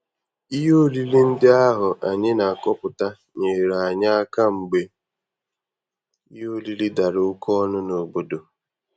Ihe oriri ndị ahụ anyị na-akọpụta nyeere anyị aka mgbe ihe oriri dara oke ọnụ n'obodo.